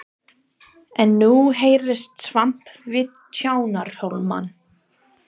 En nú heyrðist skvamp við Tjarnarhólmann.